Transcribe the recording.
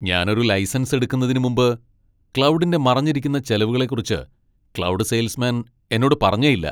ഞാൻ ഒരു ലൈസൻസ് എടുക്കുന്നതിന് മുമ്പ് ക്ലൗഡിന്റെ മറഞ്ഞിരിക്കുന്ന ചെലവുകളെക്കുറിച്ച് ക്ലൗഡ് സെയിൽസ്മാൻ എന്നോട് പറഞ്ഞേയില്ല.